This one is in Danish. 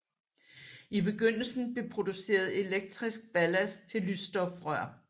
I begyndelsen blev produceret elektrisk ballast til lysstofrør